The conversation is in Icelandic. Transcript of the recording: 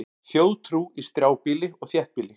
Þjóðtrú í strjálbýli og þéttbýli